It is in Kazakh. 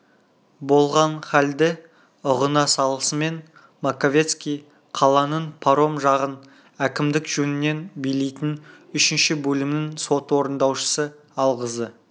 болған халді ұғына салысымен маковецкий қаланың паром жағын әкімдік жөнінен билейтін үшінші бөлімнің сот орындаушысы алғызды